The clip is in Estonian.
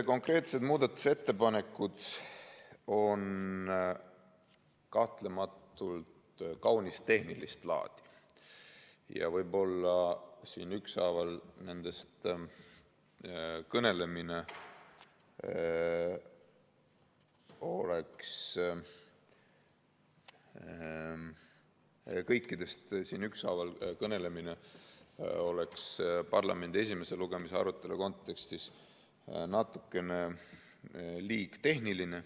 Konkreetsed muudatusettepanekud on kahtlematult kaunis tehnilist laadi ja nendest kõikidest siin ükshaaval kõnelemine oleks parlamendi esimese lugemise arutelu kontekstis võib-olla natukene liiga tehniline.